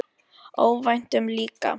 Óvæntum líka.